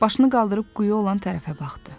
Başını qaldırıb quyu olan tərəfə baxdı.